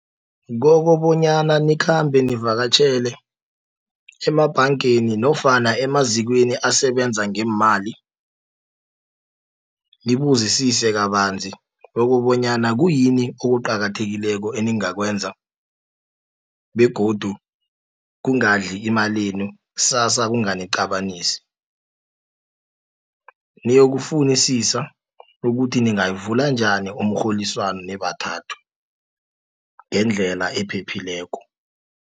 Kokobonyana nikhambe zivakatjhele emabhangeni, nofana emazikweni asebenza ngeemali, nibuzisise kabanzi kokobonyana kuyini okuqakathekileko eningakwenza, begodu kungadli emalenu, ksasa kunganiqabanisi. Niyokufunisisa ukuthi ningayivula njani umrholiswano nibathathu, ngendlela ephephileko.